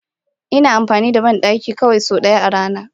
Ina amfani da bandaki sau ɗaya kawai a rana.